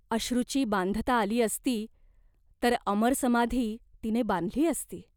अश्रूची बांधता आली असती, तर अमर समाधी तिने बांधली असती.